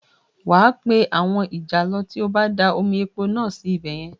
Wà a pé àwọn ìjàlọ tí ó bá da omi epo náà sí ibẹ̀ yẹn